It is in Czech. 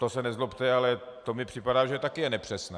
To se nezlobte, ale to mi připadá, že je taky nepřesné.